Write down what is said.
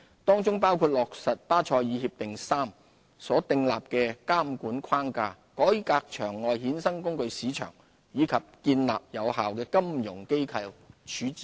當中包括落實《巴塞爾協定三》所訂立的監管框架、改革場外衍生工具市場，以及建立有效的金融機構處置機制。